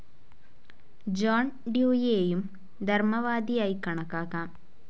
John ഡ്യൂയിയെയും ധർമവാദിയായി കണക്കാക്കാം.